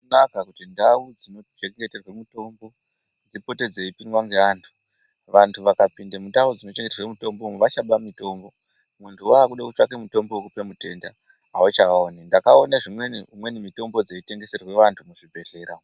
Azvina kunaka kuti ndau dzinochengeterwe mitombo dzipote dzeipindwa ngevanhu. Vanhu vakainda mundau dzinochengeterwe mitombo vachaba mitombo. Munhu wakuda kutsvake mutombo wekupa mutenda avachauoni. Ndakaone dzimweni mitombo dzeitengeserwa antu muzvibhedhlera.